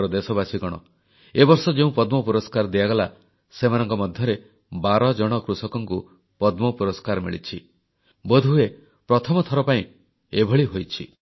ମୋର ଦେଶବାସୀଗଣ ଏ ବର୍ଷ ଯେଉଁ ପଦ୍ମ ପୁରସ୍କାର ଦିଆଗଲା ସେମାନଙ୍କ ମଧ୍ୟରେ 12 ଜଣ କୃଷକଙ୍କୁ ପଦ୍ମ ପୁରସ୍କାର ମିଳିଛି ବୋଧହୁଏ ପ୍ରଥମଥର ପାଇଁ ଏଭଳି ହୋଇଛି